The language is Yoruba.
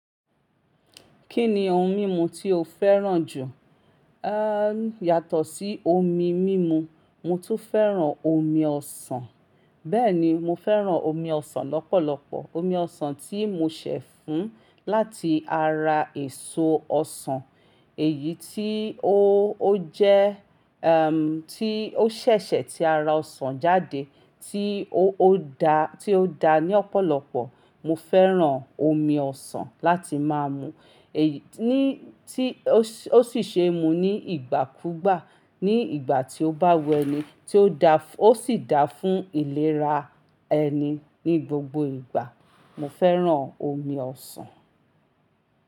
Kí ni ohun mímu tí o fẹ́ràn jù? À n yàtọ̀ sí omi mímu, mo tún fẹ́ràn omi ọsàn. Bẹ́ẹ̀ ni, mo fẹ́ràn omi ọsàn lọ́pọ̀lọpọ̀. Omi ọsàn tí mo ṣẹ̀ fún láti ara èso ọsàn èyí tí ó, ó jẹ́, ẹm, tí ó ṣẹ̀ṣẹ̀ tí ara ọsàn jáde tí ó, ó dá, tí ó da ní ọ̀pọ̀lọpọ̀. Mo fẹ́ràn omi ọsàn láti má mú. Èyí tí ó sì ṣe mú ní ìgbàkúgbà. Ní ìgbà tí ó bá wẹ́ni tí ó da, ó sì da fún ìlera ẹni ní gbogbo ìgbà. Mo fẹ́ràn omi ọsàn.